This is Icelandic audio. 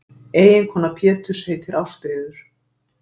eiginkona péturs heitir ástríður